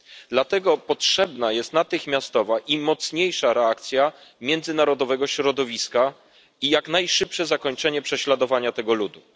Dlatego potrzebna jest natychmiastowa i mocniejsza reakcja międzynarodowego środowiska i jak najszybsze zakończenie prześladowania tego ludu.